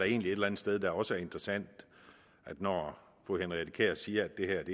egentlig et eller andet sted også er interessant når fru henriette kjær siger at det her